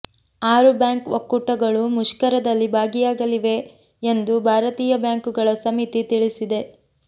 ಆರು ಬ್ಯಾಂಕ್ ಒಕ್ಕೂಟಗಳು ಮುಷ್ಕರದಲ್ಲಿ ಭಾಗಿಯಾಗಲಿವೆ ಎಂದು ಭಾರತೀಯ ಬ್ಯಾಂಕುಗಳ ಸಮಿತಿ ತಿಳಿಸಿದೆ